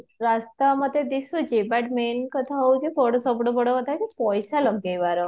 ରାସ୍ତା ମତେ ଦିଶୁଚି ବୁଟ main କଥା ହୋଉଛି ସବୁଠୁ ବଡ କଥା ହୋଉଛି ପଇସା ଲଗେଇବାର